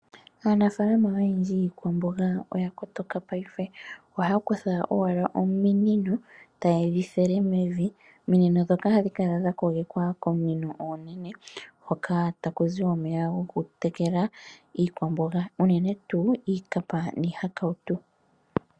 Aanafalama oyendji yikwamboga oya kotoka payife , ohaya kutha owala ominino etaye dhi thele mevi. Ominino dhoka ohadhi kala dha kogekwa kominino ominene hoka takuzi omeya gwokutekela iikwamboga uunene tu iikapa nihakawutu.